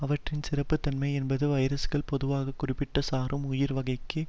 அவற்றின் சிறப்புத்தன்மை என்பது வைரசுகள் பொதுவாக குறிப்பிட்ட சாரும் உயிர் வகைக்கு